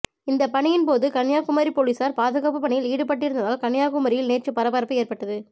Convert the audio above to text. இந்த பணியின் போது கன்னியாகுமரி போலீசார் பாதுகாப்பு பணியில் ஈடுபட்டிருந்ததால் கன்னியாகுமரியில் நேற்று பரபரப்பு ஏற்பட்டது